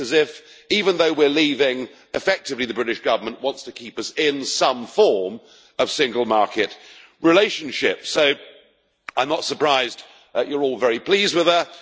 It is as if, even though we are leaving, effectively the British Government wants to keep us in some form of single market relationship, so I am not surprised that you are all very pleased with her.